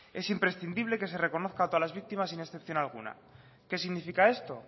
es imprescindible que se reconozca a todas las víctimas sin excepción alguna qué significa esto